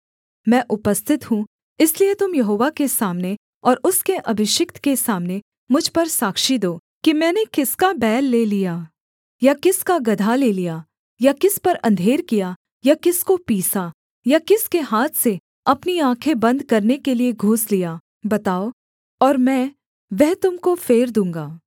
मैं उपस्थित हूँ इसलिए तुम यहोवा के सामने और उसके अभिषिक्त के सामने मुझ पर साक्षी दो कि मैंने किसका बैल ले लिया या किसका गदहा ले लिया या किस पर अंधेर किया या किसको पीसा या किसके हाथ से अपनी आँखें बन्द करने के लिये घूस लिया बताओ और मैं वह तुम को फेर दूँगा